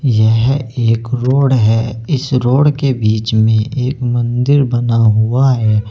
यह एक रोड है इस रोड के बीच में एक मंदिर बना हुआ है।